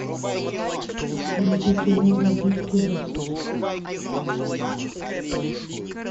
вруби кино вампирский засос